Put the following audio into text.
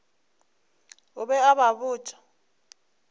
o be a ba botša